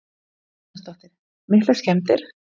Hödd Vilhjálmsdóttir: Miklar skemmdir?